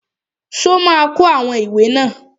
Ṣó ma kó àwọn ìwé náà wá?